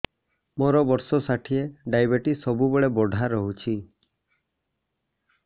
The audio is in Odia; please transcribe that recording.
ମୋର ବର୍ଷ ଷାଠିଏ ଡାଏବେଟିସ ସବୁବେଳ ବଢ଼ା ରହୁଛି